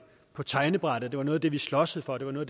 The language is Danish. på tegnebrættet det var noget af det vi sloges for det var noget